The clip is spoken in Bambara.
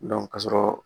ka sɔrɔ